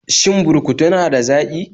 Shin burkutu na da zaƙi?